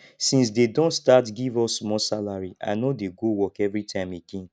since they don start give us small salary i no dey go work everytime again